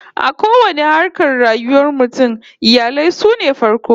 A kowanne harkar rayuwar mutum, iyali sune farko